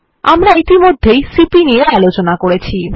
আমরা ইতিমধ্যে সিপি নিয়ে আলোচনা করেছি